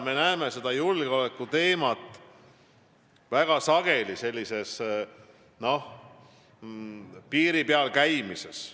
Me näeme seda julgeolekuteemat tänapäeval väga sageli sellises piiri peal käimises.